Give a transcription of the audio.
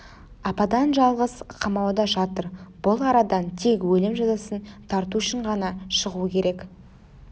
ападан-жалғыз қамауда жатыр бұл арадан тек өлім жазасын тарту үшін ғана шығуы керек